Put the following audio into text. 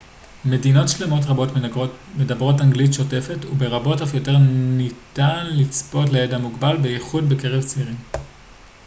מדינות שלמות רבות מדברות אנגלית שוטפת וברבות אף יותר ניתן לצפות לידע מוגבל בייחוד בקרב צעירים